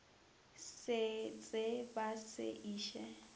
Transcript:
se tsee ba se iše